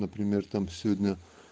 например там сегодня